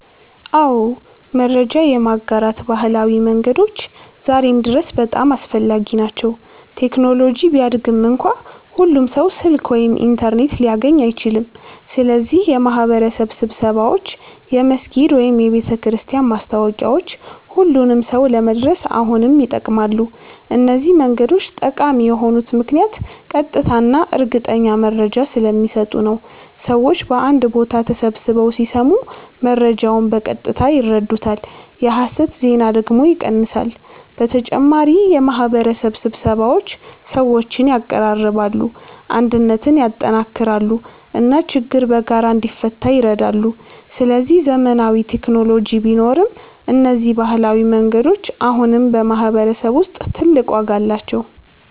አዎ፣ መረጃ የማጋራት ባህላዊ መንገዶች ዛሬም ድረስ በጣም አስፈላጊ ናቸው። ቴክኖሎጂ ቢያድግም እንኳ ሁሉም ሰው ስልክ ወይም ኢንተርኔት ሊያገኝ አይችልም። ስለዚህ የማህበረሰብ ስብሰባዎች፣ የመስጊድ ወይም የቤተክርስቲያን ማስታወቂያዎች ሁሉንም ሰው ለመድረስ አሁንም ይጠቅማሉ። እነዚህ መንገዶች ጠቃሚ የሆኑት ምክንያት ቀጥታ እና እርግጠኛ መረጃ ስለሚሰጡ ነው። ሰዎች በአንድ ቦታ ተሰብስበው ሲሰሙ መረጃውን በቀጥታ ይረዱታል፣ የሐሰት ዜና ደግሞ ይቀንሳል። በተጨማሪ የማህበረሰብ ስብሰባዎች ሰዎችን ያቀራርባሉ፣ አንድነትን ያጠናክራሉ እና ችግር በጋራ እንዲፈታ ይረዳሉ። ስለዚህ ዘመናዊ ቴክኖሎጂ ቢኖርም እነዚህ ባህላዊ መንገዶች አሁንም በማህበረሰብ ውስጥ ትልቅ ዋጋ አላቸው።